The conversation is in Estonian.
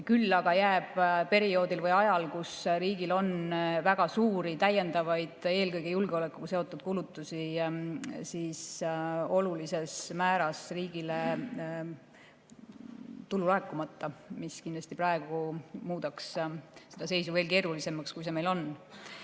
Küll aga jääb perioodil või ajal, kui riigil on väga suuri täiendavaid, eelkõige julgeolekuga seotud kulutusi, olulises määras riigile tulu laekumata, mis kindlasti muudaks selle seisu veel keerulisemaks, kui see meil praegu on.